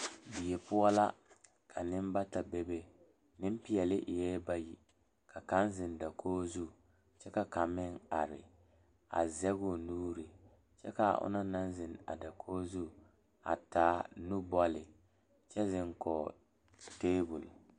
Die poɔ la ka nenbata bebe nempeɛle eɛ bayi ka kaŋ zeŋ dakogi zu kyɛ ka kaŋ meŋ are a zɛge o nuuri kyɛ ka a o na naŋ zeŋ a dakogi zu a taa nubɔle kyɛ zeŋ kɔge tabol.